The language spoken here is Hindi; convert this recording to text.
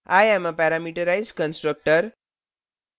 i am a parameterized constructor